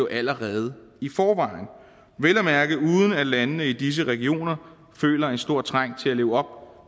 allerede i forvejen vel at mærke uden at landene i disse regioner føler en stor trang til at leve op